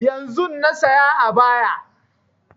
Yanzun na saya ayaba